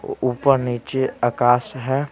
ऊपर नीचे आकाश हैं।